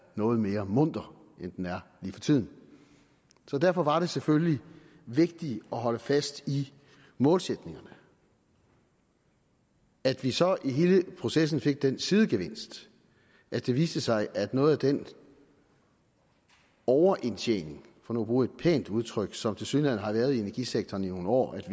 noget mere munter end den er lige for tiden så derfor var det selvfølgelig vigtigt at holde fast i målsætningerne at vi så i hele processen fik den sidegevinst at det viste sig at noget af den overindtjening for nu at bruge et pænt udtryk som der tilsyneladende har været i energisektoren i nogle år